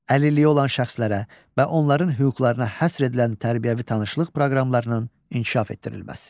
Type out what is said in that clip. Əlilliyi olan şəxslərə və onların hüquqlarına həsr edilən tərbiyəvi tanışlıq proqramlarının inkişaf etdirilməsi.